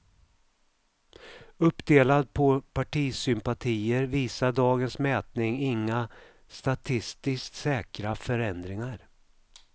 Uppdelad på partisympatier visar dagens mätning inga statistiskt säkra förändringar.